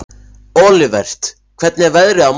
Olivert, hvernig er veðrið á morgun?